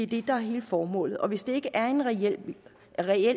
det der er hele formålet og hvis det ikke er en reel